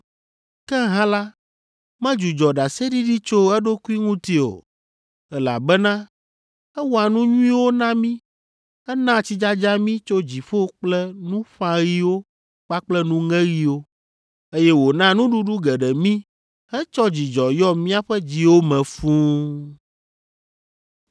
Ke hã la, medzudzɔ ɖaseɖiɖi tso eɖokui ŋuti o, elabena ewɔa nu nyuiwo na mí; enaa tsidzadza mí tso dziƒo kple nuƒãɣiwo kpakple nuŋeɣiwo, eye wòna nuɖuɖu geɖe mí hetsɔ dzidzɔ yɔ míaƒe dziwo me fũu.”